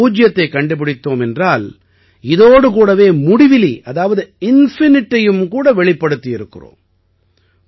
நாம் பூஜ்யத்தைக் கண்டுபிடித்தோம் என்றால் இதோடு கூடவே முடிவிலி அதாவது infiniteஐயுமே கூட வெளிப்படுத்தி இருக்கிறோம்